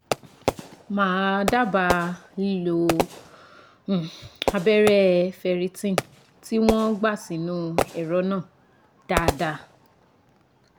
Mà á dábàá lílo um abẹ́rẹ́ Ferritin tí wọ́n gbà sínú ẹ̀rọ náà dáadáa